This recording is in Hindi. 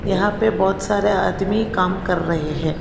यहां पे बहुत सारे आदमी काम कर रहे हैं।